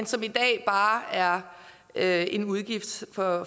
som i dag bare er er en udgift for